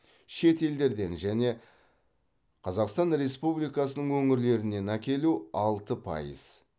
шет елдерден және қазақстан республикасының өңірлерінен әкелу алты пайыз